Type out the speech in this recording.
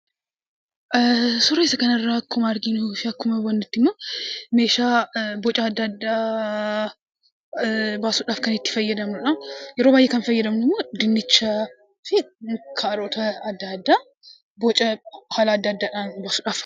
Suura isa kana irraa akkuma arginu yookaan akkuma hubannutti ammo meeshaa boca adda addaa baasuudhaaf kan itti fayyadamnuudha. Yeroo baay'ee kan fayyadamnu dinnichaafi kaarota adda addaa bocaa haala adda addaan itti baasuudhafi.